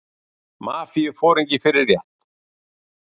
Mafíuforingi fyrir rétt